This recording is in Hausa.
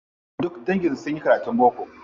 Duka dangin su sunyi karatun boko.